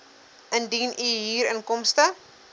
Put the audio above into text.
indien u huurinkomste